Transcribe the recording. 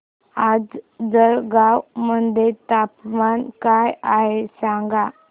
आज जळगाव मध्ये तापमान काय आहे सांगा